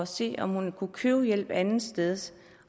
se om hun kunne købe hjælp et andet sted